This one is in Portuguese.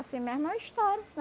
Assim mesmo é a história, né?